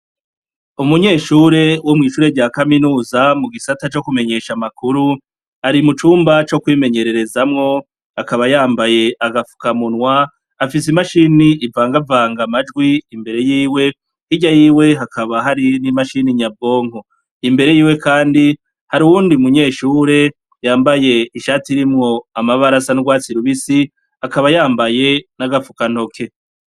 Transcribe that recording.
Umunyeshure wo mu ishure rya kaminuza, mu gisata co kumenyesha amakuru, ari mu cumba co kwimenyererezeramwo, akaba yambaye agafukamunwa, afise imashine ivangavanga amajwi imbere yiwe. Hirya yiwe hakaba hari n'imashine nyabwonko. Imbere yiwe kandi, hari uwundi munyeshure yambaye ishati irimwo amabara asa nurwatsi rubisi, akaba yambaye n'agafukantoke.